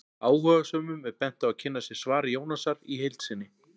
Áhugasömum er bent á að kynna sér svar Jónasar í heild sinni.